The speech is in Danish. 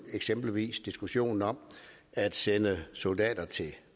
eksempelvis diskussionen om at sende soldater til